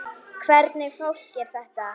Hvernig fólk er þetta?